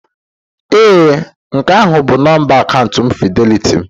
Ee nke ahụ bụ nọmba akaụntụ fịdelịtị m.